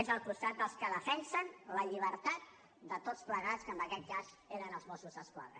és al costat dels que defensen la llibertat de tots plegats que en aquest cas eren els mossos d’esquadra